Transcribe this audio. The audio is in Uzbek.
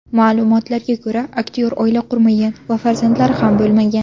Ma’lumotga ko‘ra, aktyor oila qurmagan va farzandlari ham bo‘lmagan.